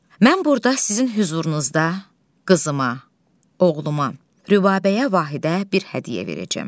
Mən burda sizin hüzurunuzda qızıma, oğluma, Rübabəyə Vahidə bir hədiyyə verəcəm.